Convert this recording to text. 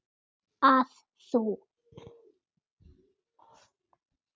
að þú.